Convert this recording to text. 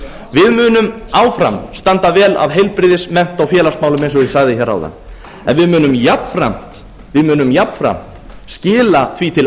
við munum áfram standa vel að heilbrigðis mennta og félagsmálum eins og ég sagði hér áðan en við munum jafnframt skila því til